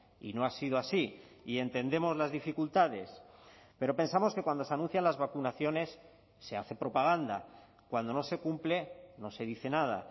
y no ha sido así y entendemos las dificultades pero pensamos que cuando se anuncian las vacunaciones se hace propaganda cuando no se cumple no se dice nada